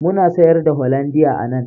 Muna sayar da hollandia a nan